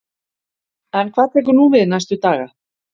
En hvað tekur nú við næstu daga?